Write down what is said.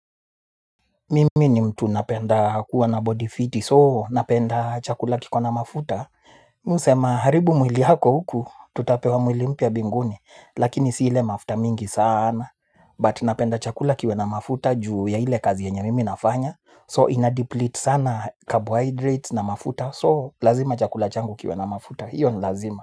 Mimi ni mtu napenda kuwa na body fiti, soo napenda chakula kiko na mafuta. Mi husema haribu mwili yako huku, tutapewa mwili mpya mbinguni, lakini ile mafuta mingi sana. But napenda chakula kiwe na mafuta juu ya ile kazi yenye mimi nafanya, soo inadeplete sana carbohydrates na mafuta, soo lazima chakula changu kiwe na mafuta, hiyo ni lazima.